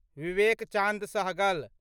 Vivek Chand Sehgal